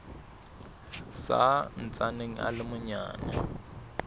sa ntsaneng a le manyane